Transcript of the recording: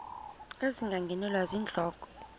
ezinga ngeenwele zentloko